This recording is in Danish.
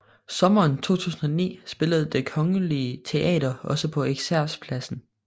Sommeren 2009 spillede Det Kongelige Teater også på Eksercerpladsen